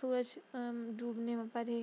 सूरज अ डूबने म पर है।